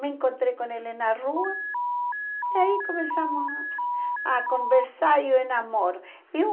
Me encontrei com ele na rua e aí começamos a conversar e eu me enamoro. Eu